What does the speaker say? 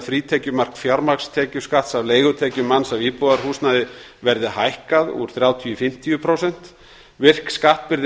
frítekjumark fjármagnstekjuskatts af leigutekjum manns af íbúðarhúsnæði verði hækkað úr þrjátíu prósentum í fimmtíu prósent virk skattbyrði